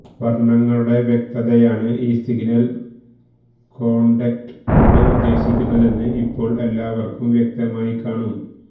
വര്ണ്ണങ്ങളുടെ വ്യക്തതയാണ് ഈ signal codec കൊണ്ട് ഉദ്ദേശിക്കുന്നതെന്ന് ഇപ്പോള് എല്ലാവര്ക്കും വ്യക്തമായിക്കാണും